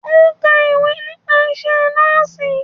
Ó ka ìwé nípa isẹ́ Nọ́ọ̀sì.